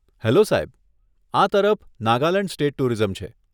Hello સાહેબ, આ તરફ નાગાલેંડ સ્ટેટ ટુરિઝમ છે.